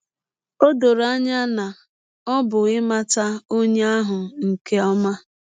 Ọ dọrọ anya na ọ bụ ịmata ọnye ahụ nke ọma.